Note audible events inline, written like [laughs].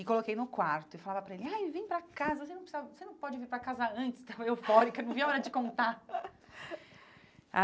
E coloquei no quarto e falava para ele, ai, vem pra casa, você não [unintelligible] você não pode vir para casa antes, estava eufórica, [laughs] não via a hora de contar.